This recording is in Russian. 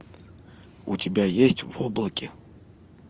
у тебя есть в облаке